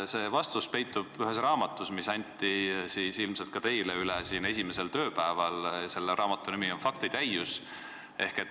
Selle vastus peitub ühes raamatus, mis anti ilmselt ka teile üle esimesel tööpäeval ja mille pealkiri on "Faktitäius".